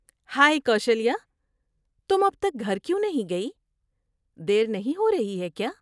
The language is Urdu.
ہائی کوشلیہ، تم اب تک گھر کیوں نہیں گئی؟ دیر نہیں ہو رہی ہے کیا؟